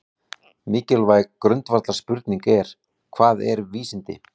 Mikilvæg grundvallarspurning er: Hvað eru vísindi?